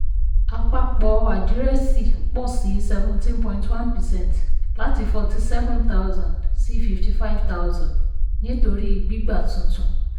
àpapọ àdírẹ́ẹ̀sì pọ̀ sí seventeen point one percent láti forty seven thousand sí fifty five thousand nítorí gbígba tuntun.